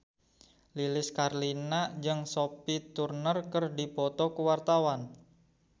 Lilis Karlina jeung Sophie Turner keur dipoto ku wartawan